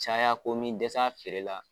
Caya ko min dɛsɛ a feereli la.